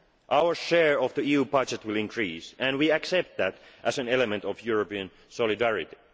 own part. Our share of the EU budget will increase, and we accept that as an element of European solidarity.